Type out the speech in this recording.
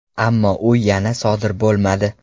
Ammo u yana sodir bo‘lmadi.